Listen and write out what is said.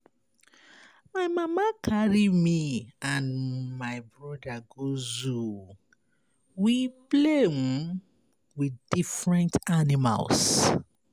My mama carry me and my broda go zoo. We play with different animals.